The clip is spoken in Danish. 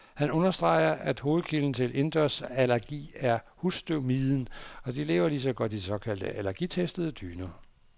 Han understreger, at hovedkilden til indendørsallergi er husstøvmiden, og de lever lige så godt i de såkaldt allergitestede dyner.